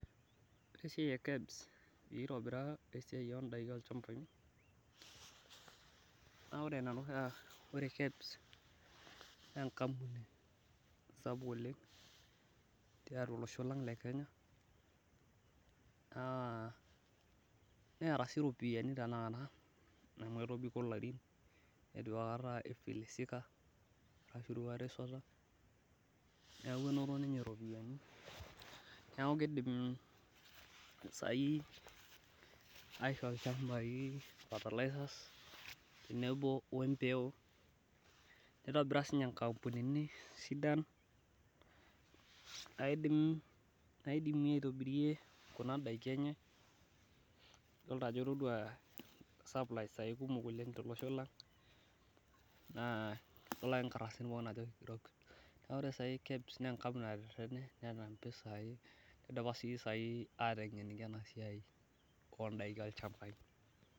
Ore esiai e kebs, pee itobira, esiai oodaiki olchampai, naa ore Ina toki naa ore kebs, naa enkampuni sapuk oleng, tiatua olosho lang le Kenya naa neeta sii iropiyiani tenakata, amu etobiko ilarin, eitu aikata ifilisika ashu eitu aikata isota. neeku enoto ninye iropiyiani, neeku kidim saai, aishoo ilchampai fertilizers tenebo we mpeku, nitobira sii ninye nkampunini sidan, naidimie aitobirie Kuna daiki enye, idol ajo itodua ajo kikumok oleng tolosho lang. Naa idol ake nkardasini pookin ajo kigero. Ore sai kebs netetene neeta, idipa sii sai atengeniki ena siai olchampai.